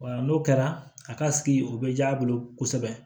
Wa n'o kɛra a ka sigi o bɛ diya a bolo kosɛbɛ